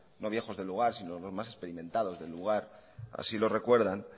no viejos del lugar sino los más experimentados del lugar así lo recuerdan